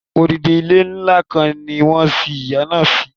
Odidi ilé ńlá kan ni wọ́n sin ìyá náà si